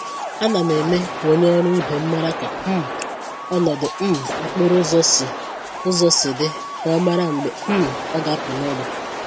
Ánám eme k'onye ọrụ ibe m màrà ka um ọnọdụ um okporo ụzọ si ụzọ si dị, ka ọ mara mgbe um ọ ga-apụ n'ụlọ.